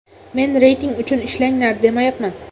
Men reyting uchun ishlanglar, demayapman.